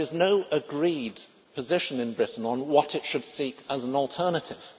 There is no agreed position in Britain on what it should seek as an alternative.